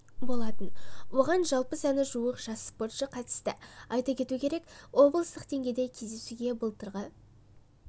болатын оған жалпы саны жуық жас спортшы қатысты айта кету керек облыстық деңгейдегі кездесуде былтырғы